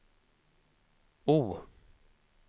O